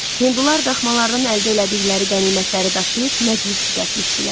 Hindular daxmalardan əldə elədikləri qənimətləri daşıyıb məclis düzəltmişdilər.